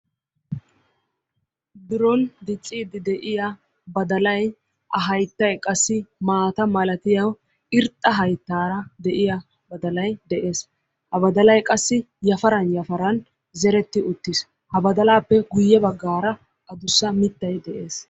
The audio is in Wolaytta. Biroon diccidi de'iyaa badallay ha hayttay qassi maatta malattiyo irxxa hayttara de'yaa badalay de'es. Ha badallay qassi yafaran yafaran zeretti uttis, ha baddalappe guye baggara adussa mittay de'es.